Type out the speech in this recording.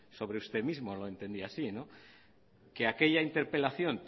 sobre usted mismo lo entendí así no que aquella interpelación